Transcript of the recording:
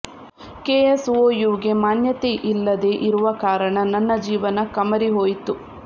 ಕೆಎಸ್ಒಯುಗೆ ಮಾನ್ಯತೆ ಇಲ್ಲದೇ ಇರುವ ಕಾರಣ ನನ್ನ ಜೀವನ ಕಮರಿ ಹೋಯಿತು